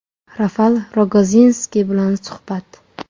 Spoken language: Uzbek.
Rafal Rogozinskiy bilan suhbat.